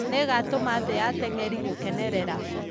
Nĩigatũma thĩ ya atengeri gũkenerera .